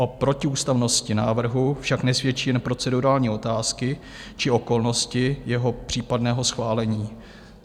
O protiústavnosti návrhu však nesvědčí jen procedurální otázky či okolnosti jeho případného schválení.